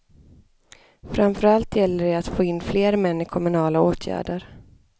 Framför allt gäller det att få in fler män i kommunala åtgärder.